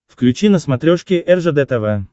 включи на смотрешке ржд тв